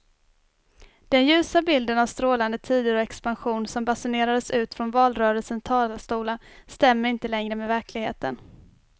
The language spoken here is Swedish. Den ljusa bilden av strålande tider och expansion som basunerades ut från valrörelsens talarstolar stämmer inte längre med verkligheten.